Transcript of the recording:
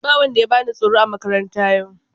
Ba wanda ya bani tsoro a makaranta yau.